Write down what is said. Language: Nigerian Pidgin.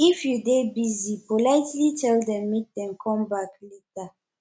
if you dey busy politely tell them make dem conme back later